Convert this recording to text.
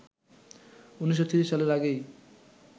১৯৩০ সালের আগেই